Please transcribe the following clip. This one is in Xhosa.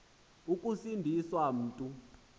ukusindi swa mntu